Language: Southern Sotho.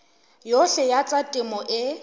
yohle ya tsa temo e